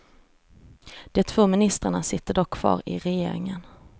De två ministrarna sitter dock kvar i regeringen.